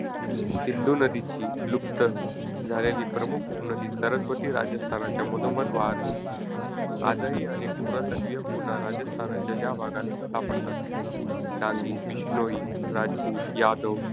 सिंधू नदीची लुप्त झालेली प्रमुख उपनदी सरस्वती राजस्थानच्या मधोमध वाहत होती. आजही अनेक पुरातत्त्वीय खुणा राजस्थानच्या या भागात सापडतात. डांगी, बिश्नोई, राजपूत, यादव,